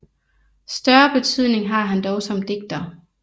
Større betydning har han dog som digter